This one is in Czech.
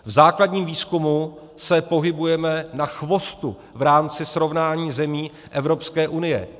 V základním výzkumu se pohybujeme na chvostu v rámci srovnání zemí Evropské unie.